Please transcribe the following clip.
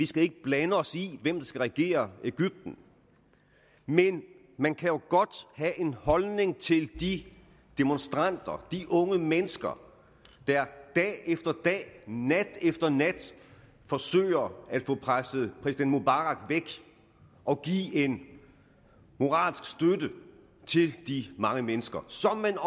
skal blande os i hvem der skal regere egypten men man kan jo godt have en holdning til de demonstranter de unge mennesker der dag efter dag nat efter nat forsøger at få presset præsident mubarak væk og give en moralsk støtte til de mange mennesker sådan